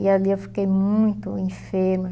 E ali eu fiquei muito enferma.